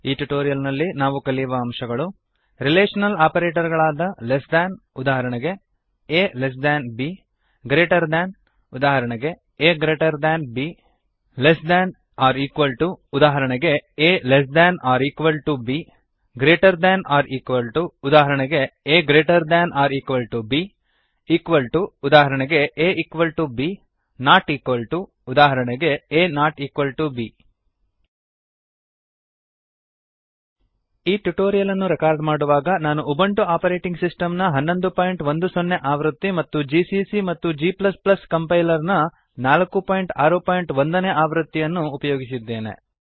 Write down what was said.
ಈ ಟ್ಯುಟೋರಿಯಲ್ ನಲ್ಲಿ ನಾವು ಕಲಿಯುವ ಅಂಶಗಳು160 ರಿಲೇಶನಲ್ ಆಪರೇಟರ್ ಗಳಾದ ಲೆಸ್ ದ್ಯಾನ್ ಉದಾಹರಣೆಗೆ a less than b greater than ಉದಾಹರಣೆಗೆ a greater than b less than or equal to ಉದಾಹರಣೆಗೆ a less than or equal to b greater than or equal to ಉದಾಹರಣೆಗೆ a greater than or equal to b equal to ಉದಾಹರಣೆಗೆ a equal to b not equal to ಉದಾಹರಣೆಗೆ a not equal to b ಈ tutorial ಅನ್ನು record ಮಾಡುವಾಗ ನಾನು Ubuntu operating ಸಿಸ್ಟಮ್ನ1110 ಆವೃತ್ತಿ ಮತ್ತು ಜಿಸಿಸಿ ಮತ್ತು g ಕಂಪೈಲರ್ನ 461 ನೇ ಆವೃತ್ತಿಯನ್ನು ಅನ್ನು ಉಪಯೋಗಿಸಿದ್ದೇನೆ